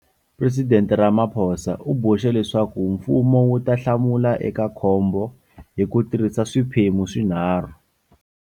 Presidente Ramaphosa u boxe leswaku mfumo wu ta hlamula eka khombo hi ku tirhisa swiphemu swinharhu.